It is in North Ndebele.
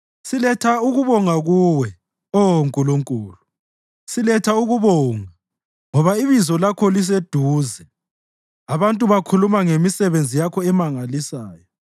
Siletha ukubonga kuwe, Oh Nkulunkulu, siletha ukubonga, ngoba iBizo lakho liseduze; abantu bakhuluma ngemisebenzi Yakho emangalisayo.